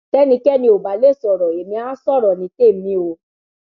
tẹnikẹni ò bá lè sọrọ ẹmí àá sọrọ ní tèmi o